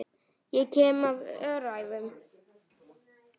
Ég kem af öræfum.